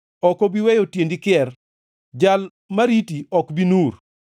Ok obi weyo tiendi kier, Jal ma riti ok bi nur;